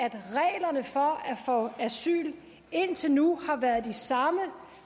få asyl indtil nu har været de samme